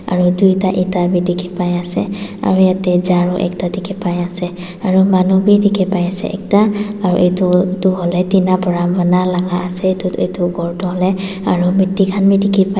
aro toida eta bi diki paiase aro yadae charu ekta diki pai asae aro manu bi diki pai asae ekta aro etu etu hoilae tina para pana laga asas etu etu khor toh hoilae aro mitti khan bi diki paii.